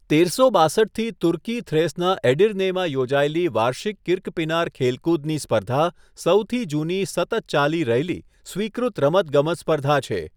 તેરસો બાંસઠથી તુર્કી થ્રેસના એડિર્નેમાં યોજાયેલી વાર્ષિક કિર્કપીનાર ખેલકૂદની સ્પર્ધા સૌથી જૂની સતત ચાલી રહેલી, સ્વીકૃત રમતગમત સ્પર્ધા છે.